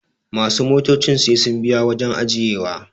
masu motocin sai sun biya wajen ajiyewa